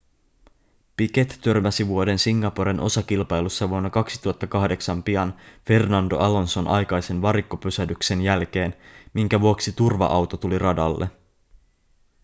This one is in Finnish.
piquet törmäsi vuoden singaporen osakilpailussa vuonna 2008 pian fernando alonson aikaisen varikkopysähdyksen jälkeen minkä vuoksi turva-auto tuli radalle